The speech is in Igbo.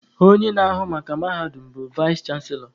Onye na-ahụ maka mahadum bụ vaịs chanselọ